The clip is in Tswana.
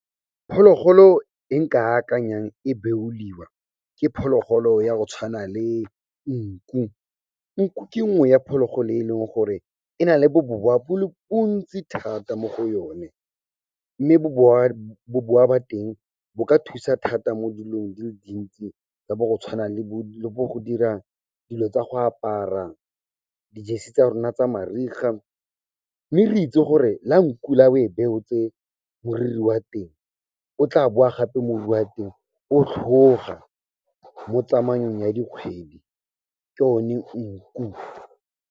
Phologolo e nka akanyang e beoliwa, ke phologolo ya go tshwana le nku. Nku ke nngwe ya phologolo e leng gore e na le bobowa bo le bontsi thata mo go yone, mme bobowa ba teng bo ka thusa thata mo dilong di le dintsi tsa bo go tshwana le bo go dira dilo tsa go apara, di-jersey tsa rona tsa mariga, mme re itse gore la nku la o e beotse moriri wa teng, o tla boa gape moriri wa teng o tlhoga mo tsamaong ya dikgwedi, ke yone nku.